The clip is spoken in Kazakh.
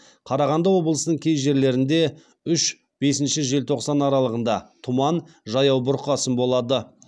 қарағанды облысының кей жерлерінде үш бесінші желтоқсан аралығында тұман жаяу бұрқасын болады